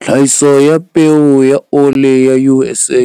Tlhahiso ya peo ya ole ya USA